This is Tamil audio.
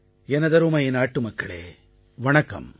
எனதருமை நாட்டுமக்களே வணக்கம்